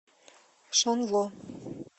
шанло